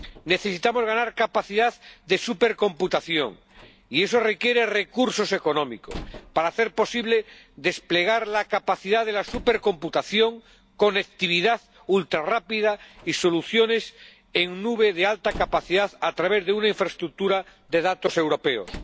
Necesitamos ganar capacidad de supercomputación y eso requiere recursos económicos para hacer posible desplegar la capacidad de la supercomputación, conectividad ultrarrápida y soluciones en nube de alta capacidad a través de una infraestructura de datos europeos.